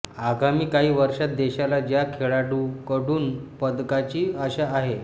आगामी काही वर्षात देशाला ज्या खेळाडूंकडून पदकाची आशा आहे